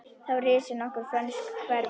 Þá risu nokkur frönsk hverfi.